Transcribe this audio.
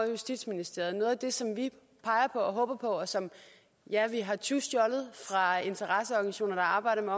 i justitsministeriet og noget af det som vi peger og håber på og som vi har ja tyvstjålet fra interesseorganisationer der arbejder på